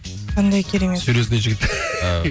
қандай керемет серьезный жігіт